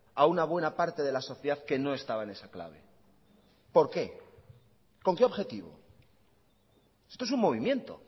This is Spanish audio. a una buena parte de la sociedad que no estaba en esa clave por qué con qué objetivo esto es un movimiento